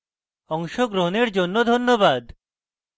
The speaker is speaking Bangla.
অংশগ্রহনের জন্য ধন্যবাদ